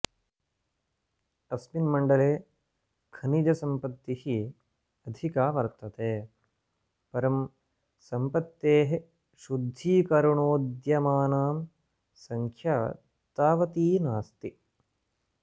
अस्मिन्मण्डले खनिजसम्पत्तिः अधिका वर्तते परं सम्पत्तेः शुद्धीकरणोद्यमानां सङ्ख्या तावती नास्ति